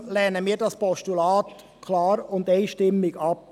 Deshalb lehnen wir das Postulat klar und einstimmig ab.